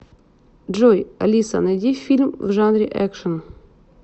джой алиса найди фильм в жанре экшен